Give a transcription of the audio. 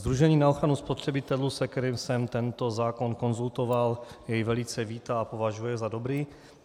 Sdružení na ochranu spotřebitelů, s kterým jsem tento zákon konzultoval, jej velice vítá a považuje za dobrý.